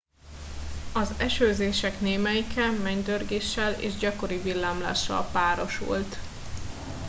az esőzések némelyike mennydörgéssel és gyakori villámlással párosult